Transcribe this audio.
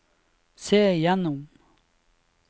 se gjennom